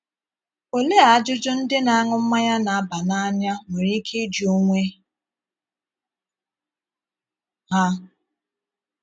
Olee ajụjụ ndị na - aṅụ mmanya na -- aba n’anya nwere ike ịjụ onwe ha?